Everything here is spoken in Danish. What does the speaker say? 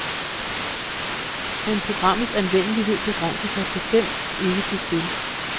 Men programmets anvendelighed begrænser sig bestemt ikke til spil.